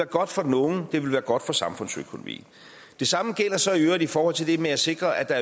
godt for den unge det vil være godt for samfundsøkonomien det samme gælder så i øvrigt i forhold til det med at sikre at der